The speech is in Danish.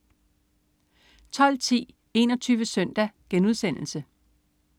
12.10 21 Søndag*